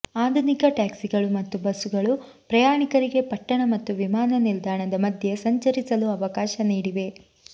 ಆಧುನಿಕ ಟ್ಯಾಕ್ಸಿಗಳು ಮತ್ತು ಬಸ್ಸುಗಳು ಪ್ರಯಾಣಿಕರಿಗೆ ಪಟ್ಟಣ ಮತ್ತು ವಿಮಾನನಿಲ್ದಾಣದ ಮಧ್ಯೆ ಸಂಚರಿಸಲು ಅವಕಾಶ ನೀಡಿವೆ